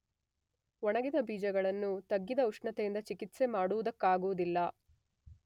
ಒಣಗಿದ ಬೀಜಗಳನ್ನು ತಗ್ಗಿದ ಉಷ್ಣತೆಯಿಂದ ಚಿಕಿತ್ಸೆ ಮಾಡುವುದಕ್ಕಾಗುವುದಿಲ್ಲ.